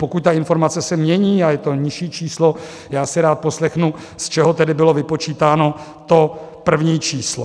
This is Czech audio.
Pokud ta informace se mění a je to nižší číslo, já si rád poslechnu, z čeho tedy bylo vypočítáno to první číslo.